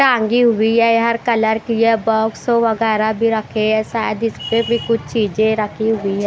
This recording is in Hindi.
टांगी हुई है यहर कलर की है बाक्स वगैरा भी रखें हैं शायद इसपे भी कुछ चीज रखी हुई है।